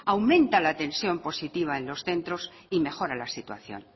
aumenta la tensión positiva en los centros y mejora la situación